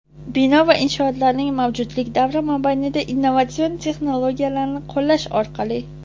Bino va inshootlarning mavjudlik davri mobaynida innovatsion texnologiyalarni qo‘llash orqali:.